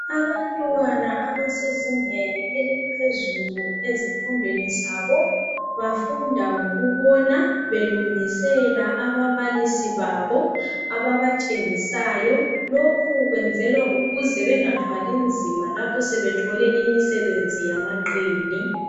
Abantwana abasezingeni eliphezulu ezifundweni zabo bafunda ngokubona belungisela ababalisi babo ababatshengisayo lokhu kwenzwela ukuthi bangathwali nzima lapho sebethole imisebenzi yamaqini.